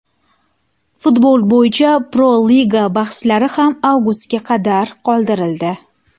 Futbol bo‘yicha Pro-Liga bahslari ham avgustga qadar qoldirildi.